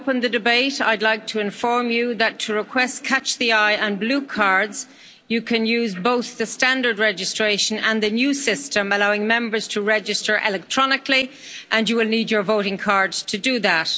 I open the debate, I'd like to inform you that to request catch the eye and blue cards, you can use both the standard registration and the new system allowing Members to register electronically, and you will need your voting cards to do that.